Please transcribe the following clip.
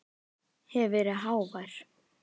Hef verið of hávær.